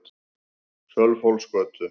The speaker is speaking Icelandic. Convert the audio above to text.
Sölvhólsgötu